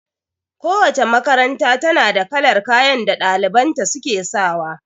Kowace makaranta ta na da kalar kayan da ɗaliban ta su ke sawa